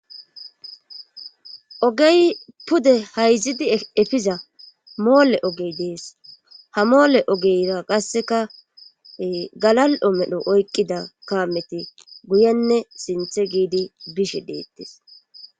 Ogey pude hayzidi efiza moole ogey dees ha moole ogeyra qasseka galal'o medho oykqida kaameti guyenne sinthe giidi bishe deettes